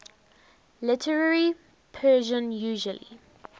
literary persian usually